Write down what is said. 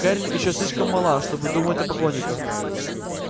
кэррин ещё слишком мала чтобы думать о поклонниках